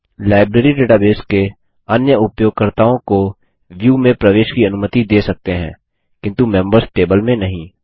library database के अन्य उपयोगकर्ताओं को व्यू में प्रवेश की अनुमति दे सकते हैं किन्तु मेंबर्स टेबल में नहीं